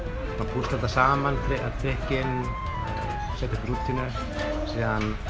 púsla þessu saman trikkin og setja upp rútínu svo